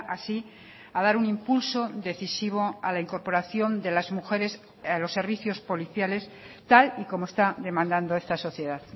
así a dar un impulso decisivo a la incorporación de las mujeres a los servicios policiales tal y como está demandando esta sociedad